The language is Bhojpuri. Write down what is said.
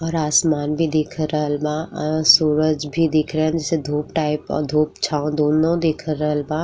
और आसमान भी दिख रहल बा। अं-सूरज भी दिख रन् जिसे धूप टाइप औ धूप छाँव दोनों दिख रहल बा।